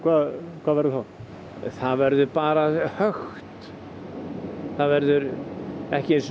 hvað verður þá það verður bara hökkt það verður ekki einu sinni